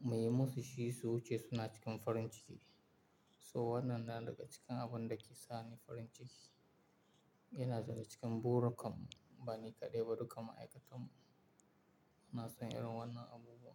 muyi musu shi su wuce suna cikin farin ciki. So wannan na daga cikin abun da ke sa ni farin ciki. Yana zaune cikin burikam, bani kaɗai ba, duka ma'aikatan mu suna son irin wannan abubuwa.